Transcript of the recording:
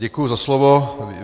Děkuju za slovo.